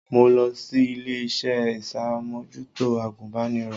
Mo lọ sí ilé-iṣẹ́ iṣàmòjútó agùnbánirọ̀